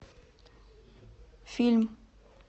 фильм